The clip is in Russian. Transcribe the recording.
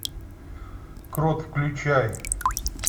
крот включай